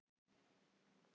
Í flughermi um Ísland